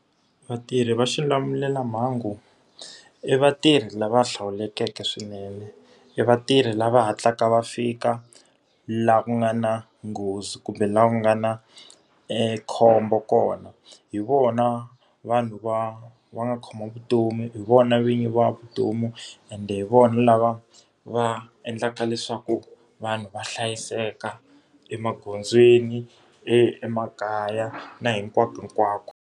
Vatirhi va xilamulelamhangu i vatirhi lava hlawulekeke swinene. I vatirhi lava hatlaka va fika laha ku nga na nghozi, kumbe laha ku nga na khombo kona. Hi vona vanhu va va nga khoma vutomi, hi vona vinyi va vutomi, ende hi vona lava va endlaka leswaku vanhu va hlayiseka emagondzweni, emakaya na hinkwakohinkwako.